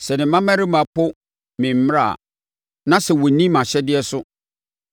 “Sɛ ne mmammarima po me mmara na sɛ wɔanni mʼahyɛdeɛ so,